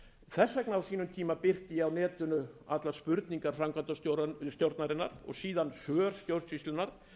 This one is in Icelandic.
þess vegna birti ég á sínum tíma á netinu allar spurningar framkvæmdastjórnarinnar og síðan svör stjórnsýslunnar